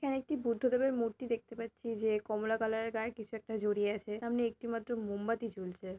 একটি বুদ্ধদেবের মূর্তি দেখতে পাচ্ছি যে কমলা কালারের গায়ে কিছু একটা জড়িয়ে আছে। সামনে একটিমাত্র মোমবাতি জ্বলছে।